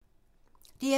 DR2